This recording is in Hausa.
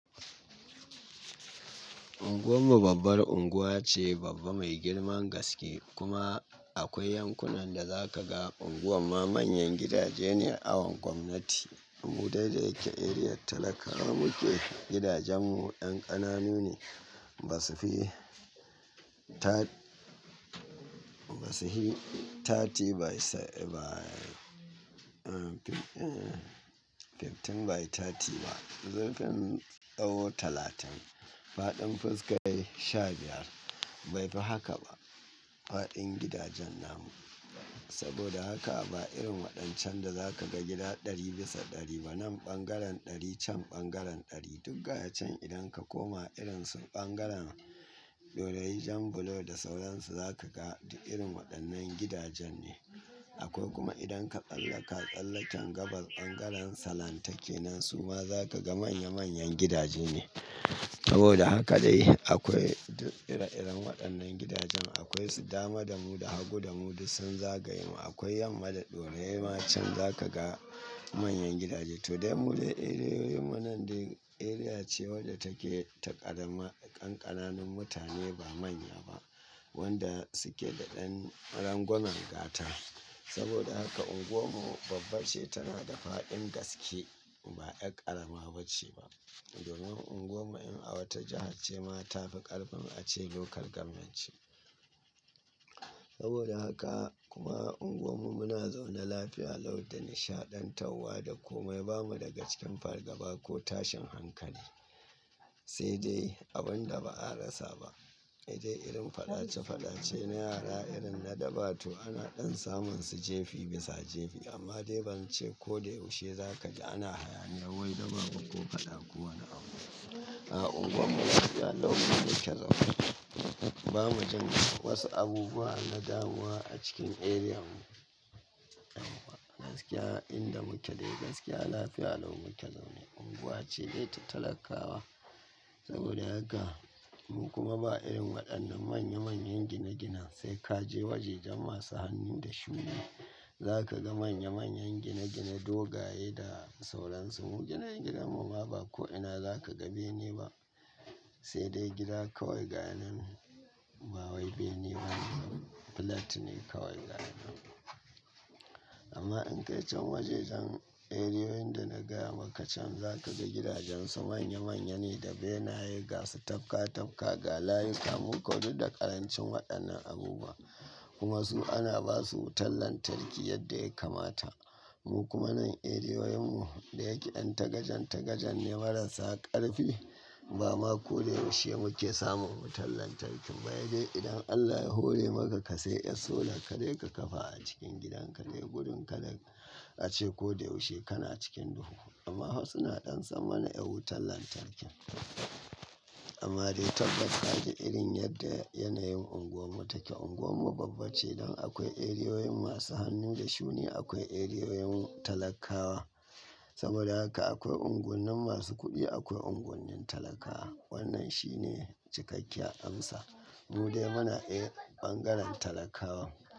Unguwar mu babbar unguwa ce, babba mai girman gaske kuma akwai yankunan da za ka ga unguwar ma manyan gidaje ne awon gwamnati. Mu dai da yake eriyar talakawa muke, gidajen mu ƴan ƙananu ne, ba su fi ta-- ba su hi thirty by s-- by, uh, fifteen by thirty ba. Zurfin tsawo talatin, faɗin fuska sha biyar. Bai fi haka ba faɗin gidajen namu. Saboda haka ba irin waɗancan da za ka ga gida ɗari bisa ɗari ba, nan ɓangaren ɗari can ɓangaren ɗari. Duk ga ya can idan ka koma irin su ɓangaren ɗorayi jan bulo da sauransu za ka ga duk irin waɗannan gidajen ne. Akwai kuma idan ka tsallaka tsallaken gabas ɓangaren salantake nan su ma za ka ga manya manyan gidaje ne. Saboda haka dai akwai duk ire-iren waɗannan gidajen. Akwai su dama damu da hagu damu duk sun zagaya mu. Akwai yamma da ɗore ma can za ka ga manyan gidaje. To dai mu dai eriyoyin mu nan dai eriya ce wadda take ta ƙarama, ƙanƙananun mutane ba manya ba wanda suke da ɗan rangwamen gata. Saboda haka unguwar mu babba ce, tana da faɗin gaske ba ƴar ƙarama ba ce ba. Domin unguwar mu in a wata jiha ce ma ta fi ƙarfin a ce lokal gwammentci. Saboda haka kuma unguwar mu muna zaune lafiya lau da nishaɗantawa da kome. Ba mu daga cikin fargaba ko tashin hankali. Sai dai abin da ba a rasa ba, hedai irin faɗace faɗace na yara irin na dabba to ana ɗan samun su jefi bisa jefi amma dai ban ce ko da yaushe za ka ji ana hayaniyar wai daba ba ko faɗa ko wane abu. A unguwar mu lafiya lau muke zaune. Ba mu jin wasu abubuwa na damuwa a cikin eriyan mu. Gaskiya inda muke dai gaskiya lafiya lau muke zaune. Unguwa ce dai ta talakawa. Saboda haka mu kuma ba irin waɗannan manya manyan gine-ginen. Sai ka je wajejan masu hannun da shuni za ka ga manya manyan gine-gine dogaye da sauransu. Mu gine-ginen mu ma ba ko ina za ka ga bene ba. Sai dai gida kawai ga nan. Ba wai bene ba, flat ne kawai ga nan. Amma in ka yi can wajejan eriyoyin da na gaya maka can za ka ga gidajen su manye manye ne da benaye ga su tafka tafka galayu ka mu ko duk da ƙarancin waɗannan abubuwa. Kuma su ana ba su wutar lantarki yadda ya kamata. Mu kuma nan eriyoyin mu da yake ɗan tagajen tagajen ne marasa ƙarfi. Ba ma ko da yaushe muke samun wutar lantarki ba. He dai idan Allah ya hore maka ka sai yar solar ka dai ka kafa a cikin gidan ka dai gudun ka dai a ce ko da yaushe kana cikin duhu. Amma hwa suna ɗan samana ƴar wutar lantarki. Amma dai tabbas ka ji irin yadda yanayin unguwar mu take. Unguwar mu babba ce dan akwai eriyoyin masu hannu da shuni, akwai eriyoyin talakawa. Saboda haka akwai unguwanni masu kuɗi, akwai unguwanni talakawa. Wannan shi ne cikakken amsa. Mu dai muna ƴae ɓangaren talakawa.